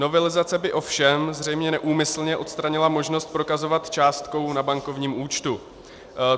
Novelizace by ovšem zřejmě neúmyslně odstranila možnost prokazovat částkou na bankovním účtu.